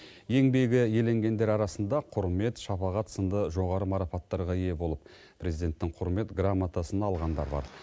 еңбегі еленгендер арасында құрмет шапағат сынды жоғары марапаттарға ие болып президенттің құрмет грамотасын алғандар бар